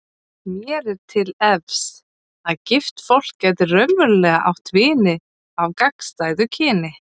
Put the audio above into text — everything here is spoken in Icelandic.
Mér er til efs að gift fólk geti raunverulega átt vini af gagnstæðu kyni.